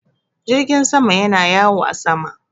Jirgin sama yana yawo a sama.